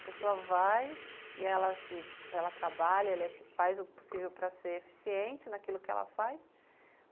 A pessoa vai e se ela trabalha, ela faz o possível para ser eficiente naquilo que ela faz.